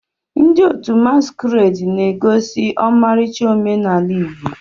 Ndị otu masquerade na-egosi ọmarịcha omenala Igbo.